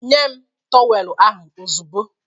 Nye m tọweelụ ahụ ozugbo!